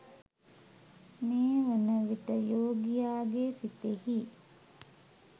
මේ වන විට යෝගියාගේ සිතෙහි